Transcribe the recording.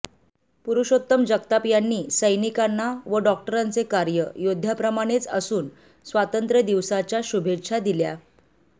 पुरुषोत्तम जगताप यांनी सैनिकांना व डॉक्टरांचे कार्य योद्ध्याप्रमाणेच असुन स्वातंत्र्यदिवसाच्या शुभेच्छा दिल्या